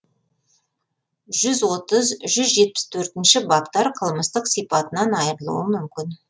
жүз отыз жүз жетпіс төртінші баптар қылмыстық сипатынан айырылуы мүмкін